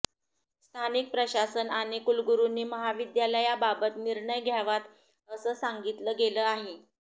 स्थानिक प्रशासन आणि कुलगुरुंनी महाविद्यालयांबाबत निर्णय घ्याव्यात असं सांगितलं गेलं आहे